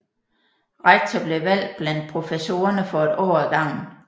Rektor blev valgt blandt professorerne for et år ad gangen